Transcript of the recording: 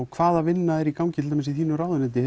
hvaða vinna er í gangi í þínu ráðuneyti